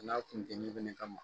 N'a kun tɛ ɲɛ kelen kama